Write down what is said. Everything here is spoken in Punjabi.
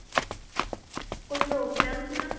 ਕੋਈ program ਸੀ?